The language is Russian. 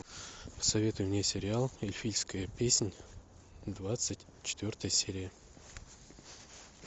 посоветуй мне сериал эльфийская песнь двадцать четвертая серия